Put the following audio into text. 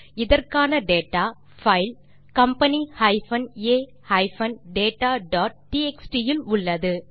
இதற்கான data file company a dataடிஎக்ஸ்டி இல் உள்ளது